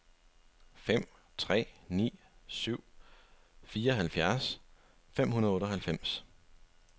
fem tre ni syv fireoghalvfjerds fem hundrede og otteoghalvfems